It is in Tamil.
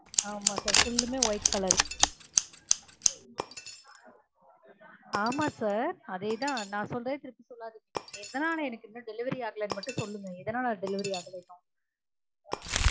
ஆமா sir full மே white color ஆமா sir அதே தான் நான் சொல்லுறத திருப்பி சொல்லாதீங்க எதனால எனக்கு இன்னும் delievery ஆகலனு மட்டும் சொல்லுங்க எதனால delievery ஆகல இன்னும்